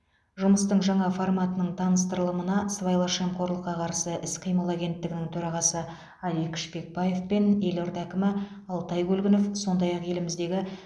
жұмыстың жаңа форматының таныстырылымына сыбайлас жемқорлыққа қарсы іс қимыл агенттігінің төрағасы алик шпекбаев пен елорда әкімі алтай көлгінов сондай ақ еліміздегі